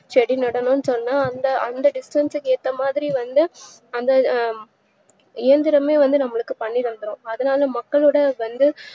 செடி நடனும்னு சொன்னா அந்த distance க்கு ஏத்தமாறி வந்து அந்த இயந்திரமே வந்து நம்மளுக்கு பண்ணிதந்துடும் அதுனால மக்களுக்கு வந்து